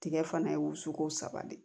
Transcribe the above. Tigɛ fana ye o sugu saba de ye